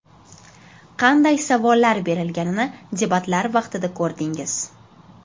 Qanday savollar berilganini debatlar vaqtida ko‘rdingiz.